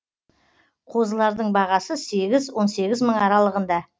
қозылардың бағасы сегіз он сегіз мың аралығында